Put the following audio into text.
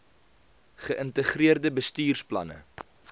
ge ïntegreerde bestuursplanne